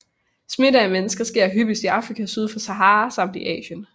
Smitte af mennesker sker hyppigst i Afrika syd for Sahara samt i Asien